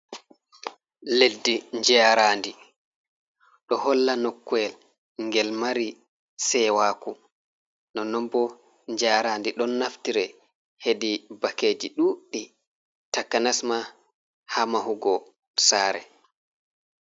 Leddi, Njaaraandi, ɗo holla nokkuyel ngel mari seewaaku, nonnon boo Njaaraandi ɗon naftire heedi bakkeeji ɗuuɗɗi, takanas ma haa mahugo saare.